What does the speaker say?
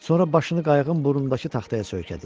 Sonra başını qayığın burnundakı taxtaya söykədi.